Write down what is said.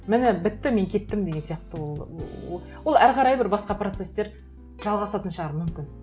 міне бітті мен кеттім деген сияқты ол ол әрі қарай бір басқа процесстер жалғасатын шығар мүмкін